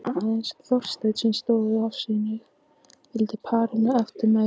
Aðeins Þorsteinn sem stóð afsíðis, fylgdi parinu eftir með augunum.